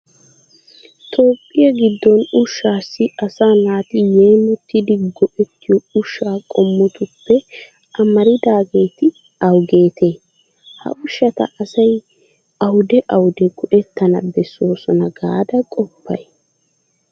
Toophphiya giddon ushshaassi asaa naati yeemottidi go"ettiyo ushshaa qommotuppe amaridaageeti awugeetee? Ha ushshata asay awude awude go"ettana bessoosona gaada qoppay